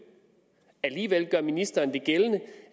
alligevel gør ministeren gældende